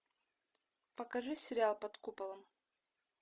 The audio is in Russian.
покажи сериал под куполом